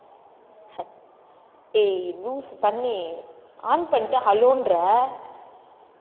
ஏய் loose பன்னி on பண்ணிட்டு hello ன்ற